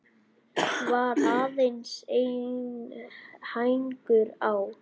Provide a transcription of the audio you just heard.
Var aðeins einn hængur á.